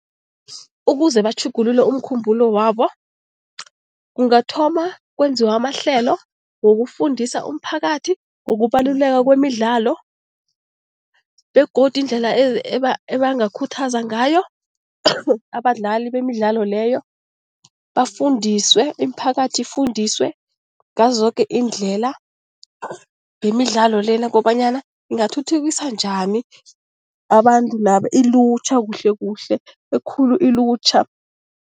Ukuze batjhugululwe umkhumbulo wabo, kungathoma kwenziwe amahlelo wokufundisa umphakathi ngokubaluleka kwemidlalo begodu indlela ebangakhuthaza ngayo abadlali bemidlalo leyo bafundiswe, imiphakathi ifundiswe ngazo zoke iindlela ngemidlalo le ukobanyana ingathuthukisa njani abantu laba, ilutjha kuhle kuhle, ekhulu ilutjha.